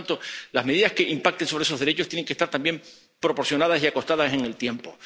Por tanto, las medidas que impacten sobre esos derechos tienen que ser también proporcionadas y estar acotadas en el tiempo.